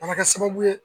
A bɛ kɛ sababu ye